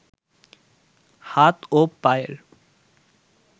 হাত ও পায়ের